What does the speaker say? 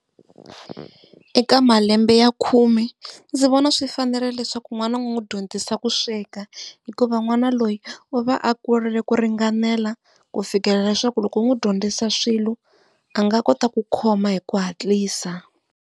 Eka malembe ya khume ndzi vona swi fanerile leswaku n'wana ni n'wi dyondzisa ku sweka hikuva n'wana loyi u va a kurile ku ringanela ku fikelela leswaku loko u n'wi dyondzisa swilo a nga kota ku khoma hi ku hatlisa.